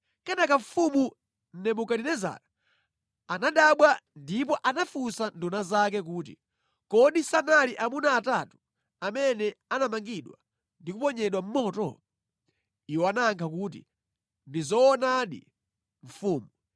Kenaka mfumu Nebukadinezara anadabwa ndipo anafunsa nduna zake kuti, “Kodi sanali amuna atatu amene anamangidwa ndi kuponyedwa mʼmoto?” Iwo anayankha kuti, “Ndi zoonadi, mfumu.”